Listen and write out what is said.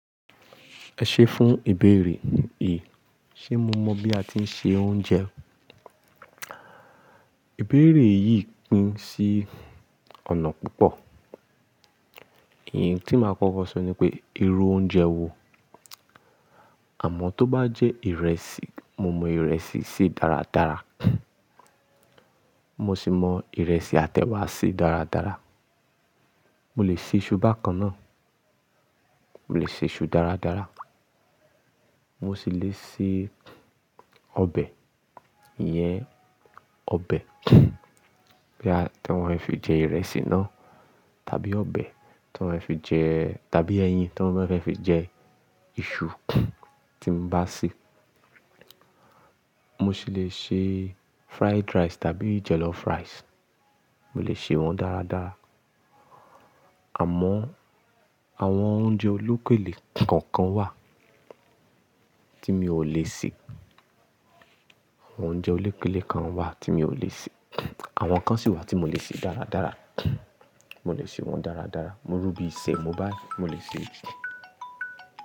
Ẹ ṣé fún ìbéèrè yìí, ṣé mo mọ̀ bí a ti ń se oúnjẹ? Ìbéèrè yìí pín sí ọ̀nà púpọ̀. Èyí tí máa kọ́kọ́ sọ ni pé, irú oúnjẹ wo? Àmọ́ tó bá jẹ́ ìrẹsì, mo mọ ìrẹsì sè dáradára. Mo sì mọ ìrẹsì àti ewá sè dáradára. Mo lè ṣe iṣu bákan náà. Mo lè ṣe iṣu dáradára. Mo sì le sè ọbẹ̀. Iyẹn ọbẹ̀ tí wọ́n fi jẹ ìrẹsì náà, tàbí ọbẹ̀ tí wọ́n fi jẹ, tàbí ẹyin tí wọ́n fẹ́ fi jẹ iṣu tí mo bá sè. Mo sì le sè fried rice tàbí jollof rice. Mo lè ṣe wọ́n dáradára. Àmọ́ àwọn oúnjẹ olókèlè kọ̀ọ̀kan wà tí mi ò lè sè. Àwọn oúnjẹ olókèlè kan wà tí mi ò lè sè. Àwọn kan sì wà tí mo lè sè dáradára. Mo lè ṣe wọ́n dáradára. Irú bíi Semo báyii, mo lè ṣe é.